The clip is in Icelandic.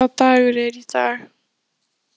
Þorsteina, hvaða dagur er í dag?